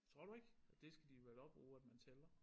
Tror du ikke? Det skal de vel også bruge at man tæller